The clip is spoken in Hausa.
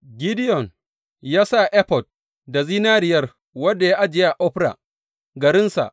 Gideyon ya efod da zinariyar, wanda ya ajiye a Ofra, garinsa.